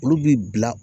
Olu bi bila